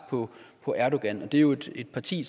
på erdogan det er jo et parti